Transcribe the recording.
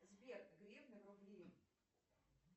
сбер гривны в рубли